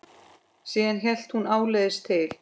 Síðan hélt hún áleiðis til